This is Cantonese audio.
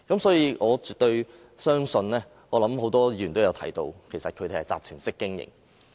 所以，我絕對相信——多位議員也提到——他們其實是集團式經營。